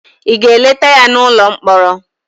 ị ga-eleta ya n'ụlọ mkpọrọ?